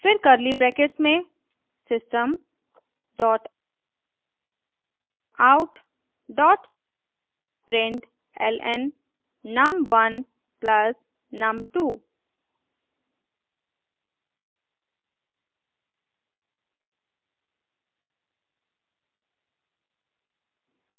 फिर curly brackets में system dot out dot println num1 plus num2